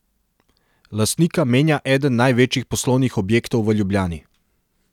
Lastnika menja eden največjih poslovnih objektov v Ljubljani.